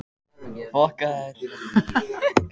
Sólborg, hvernig er veðrið í dag?